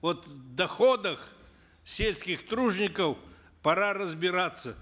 вот в доходах сельских тружеников пора разбираться